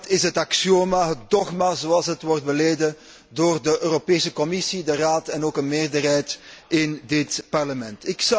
Dat is het axioma, het dogma, zoals het wordt beleden door de Europese Commissie, de Raad en ook een meerderheid in dit Parlement.